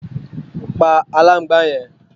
pa aláǹgbàá yẹn!